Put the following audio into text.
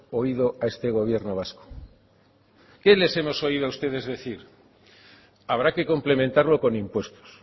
oído a este gobierno vasco qué les hemos oído a ustedes decir habrá que complementarlo con impuestos